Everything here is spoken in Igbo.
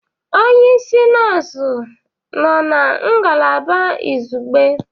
Onye isi nọọsụ nọ na ngalaba izugbe?